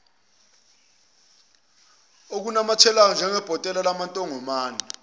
okunamathelayo njengebhotela lamantongomane